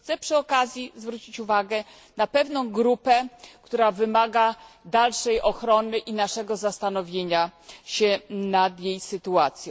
Chciałabym przy okazji zwrócić uwagę na pewną grupę, która wymaga dalszej ochrony i naszego zastanowienia nad jej sytuacją.